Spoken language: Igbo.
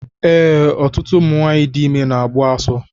Ee, ọtụtụ ụmụ nwanyị dị ime na-agbu asọ